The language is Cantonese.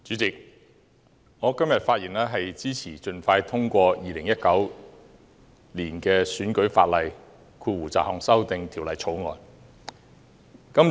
主席，我今天發言支持盡快通過《2019年選舉法例條例草案》。